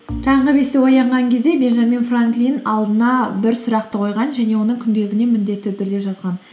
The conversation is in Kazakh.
таңғы бесте оянған кезде бенджамин франклин алдына бір сұрақты қойған және оны күнделігіне міндетті түрде жазған